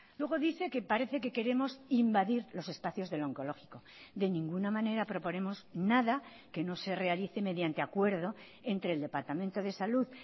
luego dice que parece que queremos invadir los espacios del oncológico de ninguna manera proponemos nada que no se realice mediante acuerdo entre el departamento de salud